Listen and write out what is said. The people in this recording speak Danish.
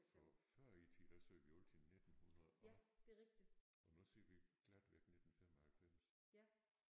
For før i tiden der sagde vi altid 1900 og og nu siger vi glatvæk 1995